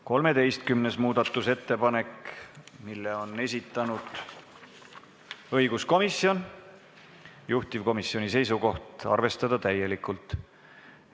13. muudatusettepaneku on esitanud õiguskomisjon, juhtivkomisjoni seisukoht: arvestada seda täielikult.